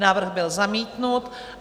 Návrh byl zamítnut.